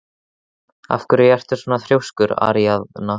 Af hverju ertu svona þrjóskur, Aríaðna?